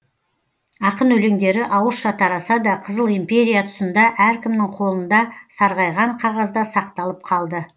ақын өлеңдері ауызша тараса да қызыл империя тұсында әркімнің қолында сарғайған қағазда сақталып қалды